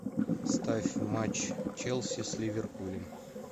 ставь матч челси с ливерпулем